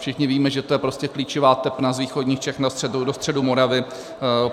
Všichni víme, že to je prostě klíčová tepna z východních Čech do středu Moravy.